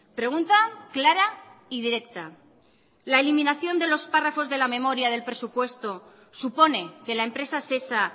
pregunta clara y directa la eliminación de los párrafos de la memoria del presupuesto supone que la empresa sesa